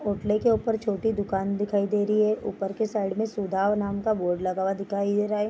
के ऊपर छोटी दुकान दिखाई दे रही है ऊपर के साइड में सुधा नाम का बोर्ड लगा हुआ दिखाई दे रहा है।